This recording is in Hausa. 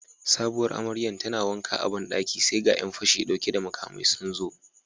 Sabuwar amaryar tana wanka a bandaki sai ga Yan fashi dauke da makamai sunzo